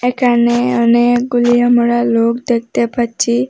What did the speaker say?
একানে অনেকগুলি আমরা লোক দেখতে পাচ্ছি।